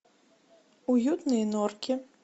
уютные норки